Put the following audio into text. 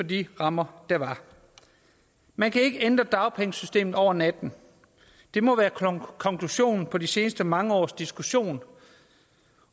de rammer der var man kan ikke ændre dagpengesystemet over natten det må være konklusionen på de seneste mange års diskussion